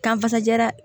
Kan ka fasajara